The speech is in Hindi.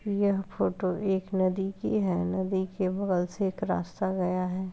यह फोटो एक नदी की है नदी के बगल से एक रास्ता गया है।